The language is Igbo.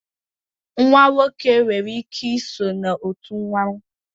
nwa nwoke nwere ike so na otu mmanwu